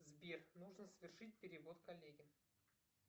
сбер нужно совершить перевод коллеге